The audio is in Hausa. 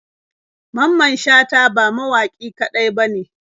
Mamman shata ba mawaƙi kaɗai bane.